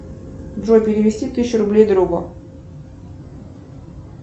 джой перевести тысячу рублей другу